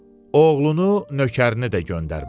Oğlunu, nökərini də göndərmədi.